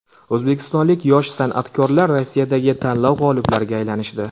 O‘zbekistonlik yosh san’atkorlar Rossiyadagi tanlov g‘oliblariga aylanishdi.